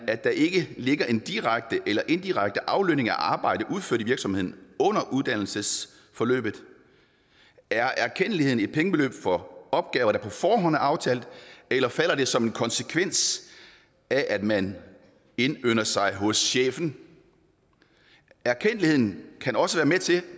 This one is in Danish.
at der ikke ligger en direkte eller indirekte aflønning af arbejde udført i virksomheden under uddannelsesforløbet er erkendtligheden et pengebeløb for opgaver der på forhånd er aftalt eller falder det som en konsekvens af at man indynder sig hos chefen og erkendtligheden kan også være med til